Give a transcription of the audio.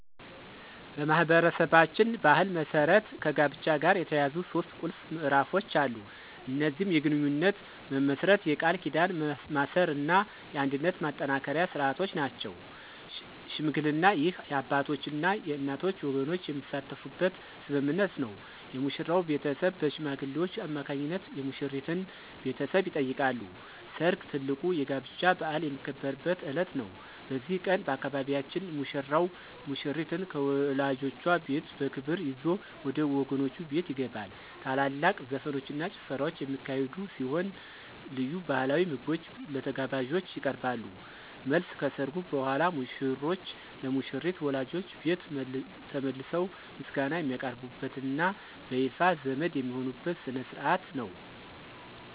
በማኅበረሰባችን ባሕል መሠረት ከጋብቻ ጋር የተያያዙ ሦስት ቁልፍ ምዕራፎች አሉ። እነዚህም የግንኙነት መመስረት፣ የቃል ኪዳን ማሰርና የአንድነት ማጠናከሪያ ሥርዓቶች ናቸው። ሽምግልና: ይህ የአባቶችና የእናቶች ወገኖች የሚሳተፉበት ስምምነት ነው። የሙሽራው ቤተሰብ በሽማግሌዎች አማካኝነት የሙሽሪትን ቤተሰብ ይጠይቃሉ። ሰርግ: ትልቁ የጋብቻ በዓል የሚከበርበት ዕለት ነው። በዚህ ቀን፣ በአካባቢያችን ሙሽራው ሙሽሪትን ከወላጆቿ ቤት በክብር ይዞ ወደ ወገኖቹ ቤት ይገባል። ታላላቅ ዘፈኖችና ጭፈራዎች የሚካሄዱ ሲሆን፣ ልዩ ባሕላዊ ምግቦች ለተጋባዦች ይቀርባሉ። መልስ : ከሠርጉ በኋላ ሙሽሮች ለሙሽሪት ወላጆች ቤት ተመልሰው ምስጋና የሚያቀርቡበትና በይፋ ዘመድ የሚሆኑበት ሥነ ሥርዓት ነው።